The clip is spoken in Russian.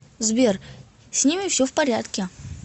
сбер с ними все в порядке